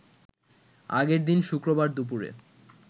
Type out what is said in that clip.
আগের দিন শুক্রবার দুপুরে